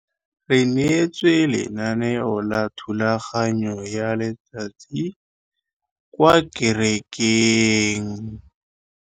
Re neetswe lenaneo la thulaganyô ya letsatsi kwa kerekeng.